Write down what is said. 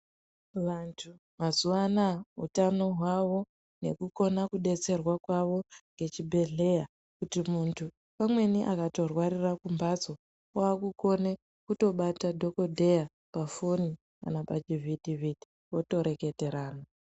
Vantu mazuvaano aya utano hwavo nekukona kudetserwaa kwavo ngechibhedhleyaa kuti muntu pamweni akatorwarira kumbatso wakukone kutobata dhokodheyaa pafoni kana pachivhiti vhiti votoreketerana.